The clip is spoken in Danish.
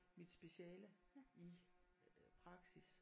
Mit speciale i praksis